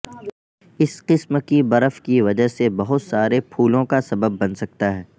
اس قسم کی برف کی وجہ سے بہت سارے پھولوں کا سبب بن سکتا ہے